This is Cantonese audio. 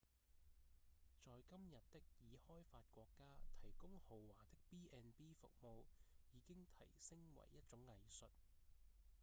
在今日的已開發國家提供豪華的 b&b 服務已經提升為一種藝術